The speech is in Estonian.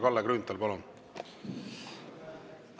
Kalle Grünthal, palun!